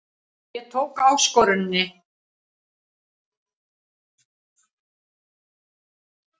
Ég tók áskoruninni.